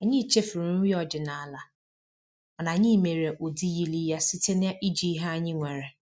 Anyị chefuru nri ọdịnala, mana anyị mere ụdị yiri ya site na iji ihe anyị nwere